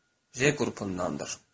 J qrupundandır.